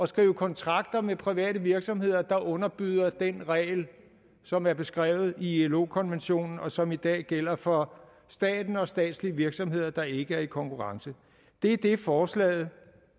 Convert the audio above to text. skrive kontrakter med private virksomheder der underbyder den regel som er beskrevet i ilo konventionen og som i dag gælder for staten og statslige virksomheder der ikke er i konkurrence det er det forslaget